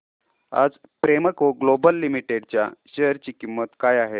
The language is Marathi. आज प्रेमको ग्लोबल लिमिटेड च्या शेअर ची किंमत काय आहे